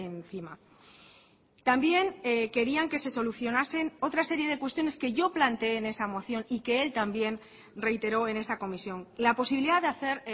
encima también querían que se solucionasen otra serie de cuestiones que yo planteé en esa moción y que él también reiteró en esa comisión la posibilidad de hacer